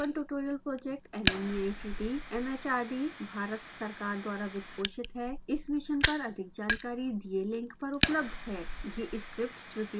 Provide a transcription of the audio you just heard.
spoken tutorial project nmeict mhrd Bharat सरकार द्वारा वित्तपोषित है इस मिशन पर अधिक जानकारी दिए लिंक पर उपलब्ध है